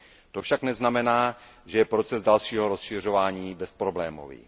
To však neznamená, že je proces dalšího rozšiřování bezproblémový.